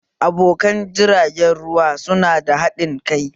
Abokan jiragen ruwa su na da haɗin kai